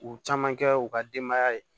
U caman kɛ u ka denbaya ye